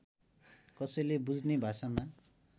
कसैले बुझ्ने भाषामा